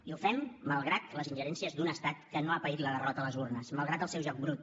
i ho fem malgrat les ingerències d’un estat que no ha paït la derrota a les urnes malgrat el seu joc brut